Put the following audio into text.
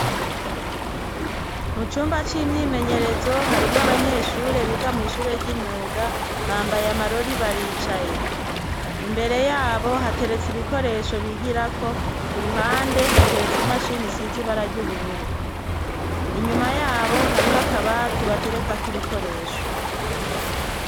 Mu cumba c'imyimenyerezo, harimwo abanyeshure biga mw' ishure ry'imyuga, bambaye amarori baricaye. Imbere yabo hateretse ibikoresho bigirako; ku ruhande hateretse imashini isize ibara r'ubururu. Inyuma yabo hariho akabati baterekako ibikoresho.